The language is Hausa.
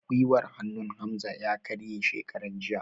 Gwiwar hannun Hamza ya kare shekaran jiya